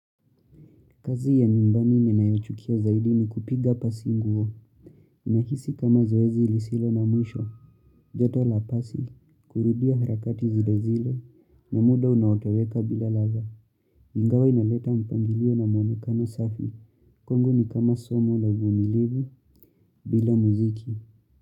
Kazi ya nyumbani ninayoichukia zaidi ni kupiga pasi nguo, inahisi kama zoezi ilisilo na mwisho, joto la pasi, kurudia harakati zile zile, na muda unaoteweka bila ladha, ingawa inaleta mpangilio na muonekano safi, kwangu ni kama somo la uvumilivu, bila muziki.